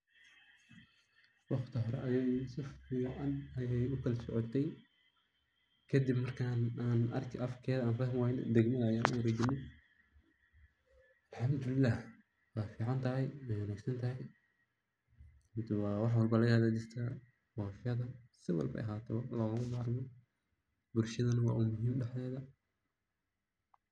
Waqti hore ayada si fican ayay ukala socootey kadib markan afkeeda an fahmii Wayne degmada ayan uwarejine. Alhamdulilah way ficantahay way wanaagsantahay waa wax walba laga hagajista balkeeds si walbo ay ahato logama bahno, bulshadana wa umuhim dhaxdeeda